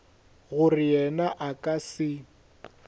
gore yena a ka se